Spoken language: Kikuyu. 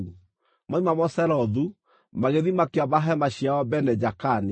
Moima Moserothu, magĩthiĩ makĩamba hema ciao Bene-Jaakani.